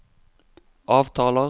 avtaler